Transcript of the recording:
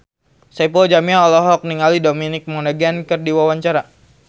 Saipul Jamil olohok ningali Dominic Monaghan keur diwawancara